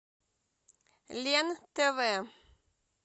лен тв